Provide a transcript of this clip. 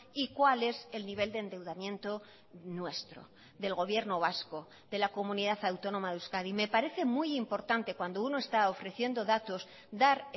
y cuál es el nivel de endeudamiento nuestro del gobierno vasco de la comunidad autónoma de euskadi me parece muy importante cuando uno está ofreciendo datos dar